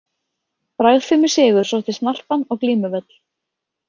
Bragðfimur sigur sótti snarpan á glímuvöll.